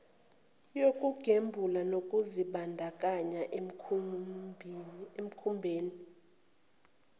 yokugembula nokuzibandakanya emikhubeni